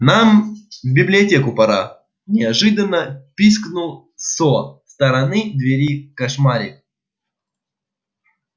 нам в библиотеку пора неожиданно пискнул со стороны двери кошмари